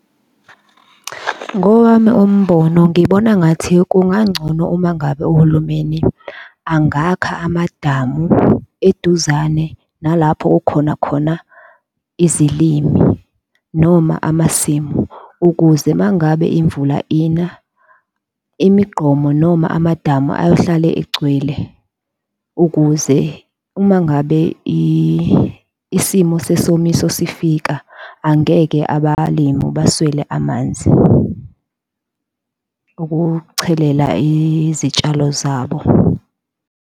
Ngowami umbono ngibona ngathi kungangcono uma ngabe uhulumeni angakha amadamu eduzane nalapho kukhona khona izilimi noma amasimu, ukuze mangabe imvula ina, imigqomo noma amadamu ayohlale egcwele ukuze uma ngabe isimo sesomiso sifika angeke abalimi baswele amanzi ukuchelela izitshalo zabo.